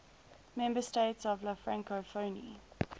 member states of la francophonie